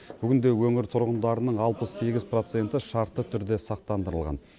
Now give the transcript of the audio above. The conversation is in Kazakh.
бүгінде өңір тұрғындарының алпыс сегіз проценті шартты түрде сақтандырылған